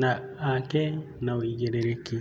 na ake na wĩigĩrĩrĩki.